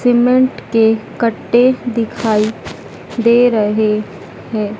Cement के कट्टे दिखाई दे रहें हैं।